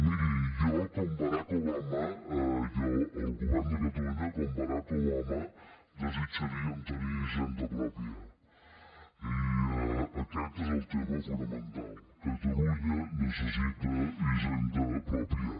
miri jo com barack obama el govern de catalunya com barack obama desitjaríem tenir hisenda pròpia i aquest és el tema fonamental catalunya necessita hisenda pròpia